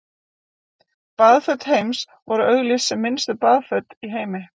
Baðföt Heims voru auglýst sem minnstu baðföt í heimi.